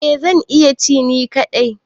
Eh zan iya ci ni kadai.